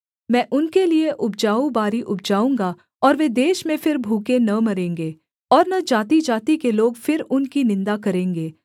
मैं उनके लिये उपजाऊ बारी उपजाऊँगा और वे देश में फिर भूखे न मरेंगे और न जातिजाति के लोग फिर उनकी निन्दा करेंगे